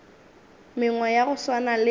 mengwe ya go swana le